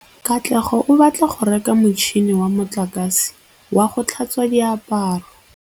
Katlego o batla go reka motšhine wa motlakase wa go tlhatswa diaparo.